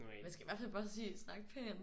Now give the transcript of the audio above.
Man skal i hvert fald bare sige snak pænt